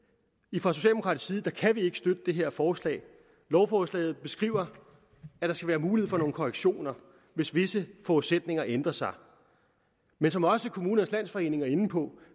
fra socialdemokratisk side kan vi ikke støtte det her forslag lovforslaget beskriver at der skal være mulighed for nogle korrektioner hvis visse forudsætninger ændrer sig men som også kommunernes landsforening er inde på